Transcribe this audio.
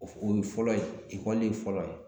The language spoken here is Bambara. O o ye fɔlɔ ye ekɔli fɔlɔ ye